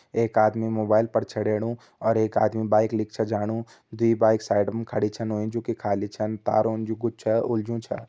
एक आदमी मोबाइल पर छेड़येणु और एक आदमी बाइक लीक छा जाणु दुई बाइक साइडम खड़ी छ होईं जु की खली छन तारोंन जु कुछ छा उलझयूं छा।